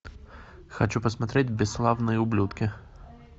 хочу посмотреть бесславные ублюдки